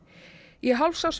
í